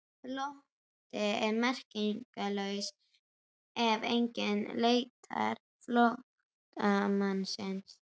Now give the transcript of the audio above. Flótti er merkingarlaus ef enginn leitar flóttamannsins.